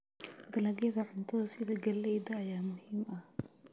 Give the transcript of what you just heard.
Dalagyada cuntada sida galleyda ayaa muhiim ah.